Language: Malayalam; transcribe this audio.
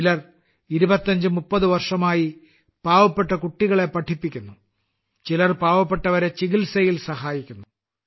ചിലർ 25 30 വർഷമായി പാവപ്പെട്ട കുട്ടികളെ പഠിപ്പിക്കുന്നു ചിലർ പാവപ്പെട്ടവരെ ചികിത്സയിൽ സഹായിക്കുന്നു